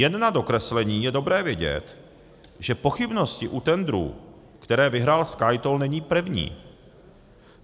Jen na dokreslení, je dobré vědět, že pochybnost u tendrů, které vyhrál SkyToll, není první.